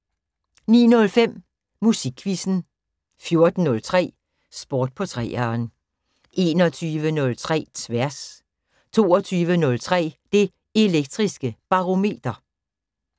09:05: Musikquizzen 14:03: Sport på 3'eren 21:03: Tværs 22:03: Det Elektriske Barometer